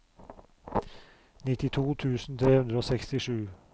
nittito tusen tre hundre og sekstisju